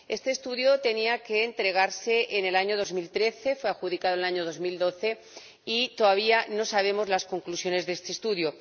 Este estudio tenía que entregarse en el año 2013, fue adjudicado en el año 2012 y todavía no sabemos las conclusiones de este estudio.